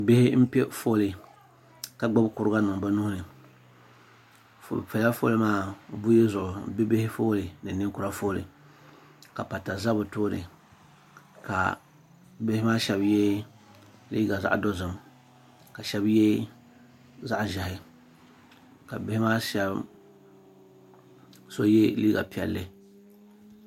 bihi n pɛƒɔli ka gbabi kuriga nim bɛ nuhini be pɛla ƒɔli maa buyi zuɣ be bihi n pɛ ƒɔli maa bihi ki nɛkura ƒɔli la pata za be tuuni ka bihi maa shɛbi yɛ liga dozim ka shɛbi yɛ zaɣ' ʒiɛhi ka bihi maa so yɛ liga piɛli